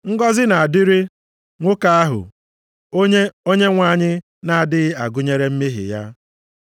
Ngọzị na-adịrị nwoke ahụ, onye Onyenwe anyị na-adịghị agụnyere mmehie ya.” + 4:8 \+xt Abụ 32:1-2\+xt*